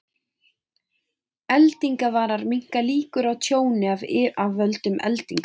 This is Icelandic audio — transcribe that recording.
Eldingavarar minnka líkur á tjóni af völdum eldinga.